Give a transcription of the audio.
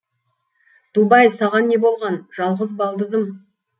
дубай саған не болған жалғыз балдызым